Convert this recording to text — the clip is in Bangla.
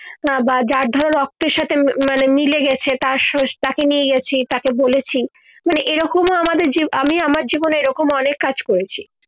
না বা যার ধরো রক্তের সাথে মানে মিলে গেছে তার সোস তাকে নিয়ে গিয়েছি তাকে বলেছি মানে এই রকম তো আমাদের জীব আমি আমার জীবনে এই রকম অনেক কাজ করেছি